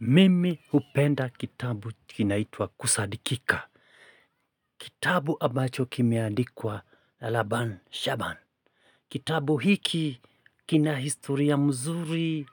Mimi hupenda kitabu kinaitwa Kusadikika kitabu ambacho kimeandikwa na Laban Shaaban. Kitabu hiki kina historia mzuri,